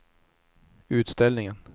utställningen